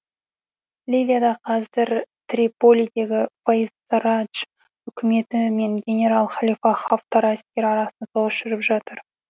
ливияда қазір триполидегі фаиз сарадж үкіметі мен генерал халифа хафтар әскері арасында соғыс жүріп жатыр